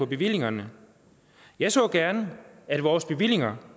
bevillingerne jeg så gerne at vores bevillinger